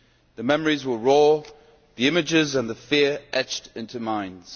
The memories were raw, the images and the fear etched into minds.